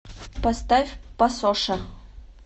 поставь пасоша